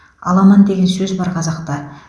аламан деген сөз бар қазақта